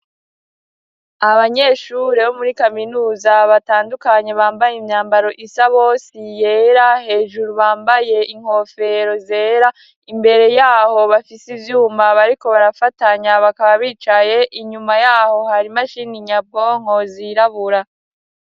Abanyeshure bo muri kaminuza batandukanye bambaye imyambaro isa bose yera , hejuru bambaye inkofero zera, imbere yaho bafise ivyuma bariko barafatanya; bakaba bicaye inyuma yaho hari mashini nyabwonko zirabura.